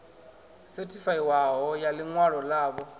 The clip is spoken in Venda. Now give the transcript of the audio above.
sethifaiwaho ya ḽi ṅwalo ḽavho